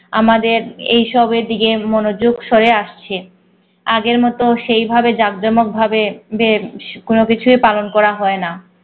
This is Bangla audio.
আমাদের এসবের দিকে মনোযোগ সরে আসছে। আগের মত সেই ভাবে জাকজমক ভাবে যে কোন কিছুই পালন করা হয় না